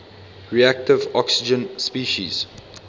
reactive oxygen species